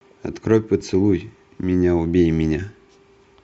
открой поцелуй меня убей меня